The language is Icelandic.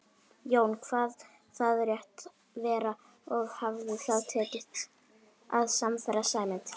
Jón kvað það rétt vera og hafði þá tekist að sannfæra Sæmund.